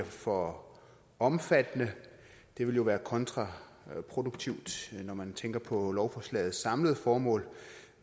for omfattende det vil jo være kontraproduktivt når man tænker på lovforslagets samlede formål